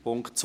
Punkt 2: